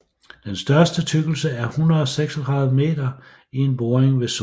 Den største tykkelse er 136 meter i en boring ved Sorø